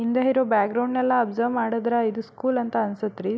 ಹಿಂದೆ ಇರೋ ಬ್ಯಾಗ್ರೌಂಡ್ ನೆಲ್ಲ ಅಬ್ಸರ್ವ್ ಮಾಡದ್ರ ಇದು ಸ್ಕೂಲ್ ಅಂತ ಅನ್ಸತ್ ರೀ.